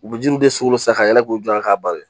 U bɛ jiw de sugolo san ka yɛlɛ k'u jɔ k'a bari